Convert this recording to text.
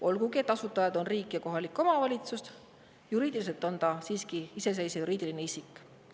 Olgugi et asutajad on riik ja kohalik omavalitsus, juriidiliselt on ta siiski iseseisev juriidiline isik.